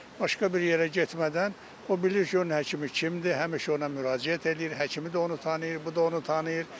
Başqa bir yerə getmədən o bilir ki, onun həkimi kimdir, həmişə ona müraciət eləyir, həkimi də onu tanıyır, bu da onu tanıyır.